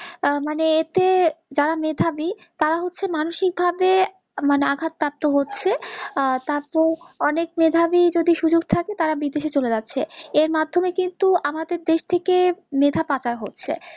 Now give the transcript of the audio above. মানে এতে যারা মেধাবি তারা হচ্ছে মানসিক ভাবে মানে আঘাত প্রাপ্ত হচ্ছে আর তারপর অনেক মেধাবি যদি সুযোগ থাকে তারা বিদেশে চোলে যাচ্ছে। এর মাধ্যমে কিন্তু আমাদের দেশ থেকে মেধা পাচার হচ্ছে।